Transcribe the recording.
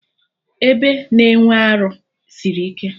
Ebe na-enwe arụ sịrị ike